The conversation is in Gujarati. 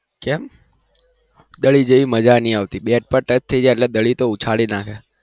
કેમ દડી જેવી મજા નહિ આવતી બેટ પર touch થઇ જાય એટલે દડી તો ઉછાળી નાખે